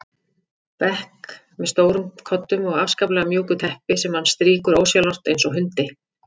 bekk með stórum koddum og afskaplega mjúku teppi sem hann strýkur ósjálfrátt eins og hundi.